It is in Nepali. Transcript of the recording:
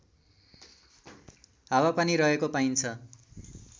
हावापानी रहेको पाइन्छ